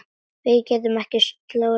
Við getum ekki slórað hérna.